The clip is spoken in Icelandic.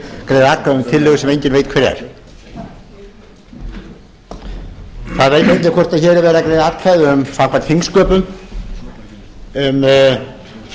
greiða atkvæði um tillögu sem enginn veit hver er það veit enginn hvort hér er verið að greiða atkvæði samkvæmt þingsköpum um